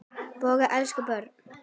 Bogga elskaði börn.